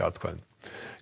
atkvæðum